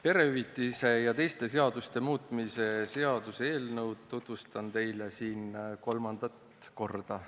Perehüvitiste ja teiste seaduste muutmise seaduse eelnõu tutvustan teile siin kolmandat korda.